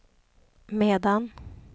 medan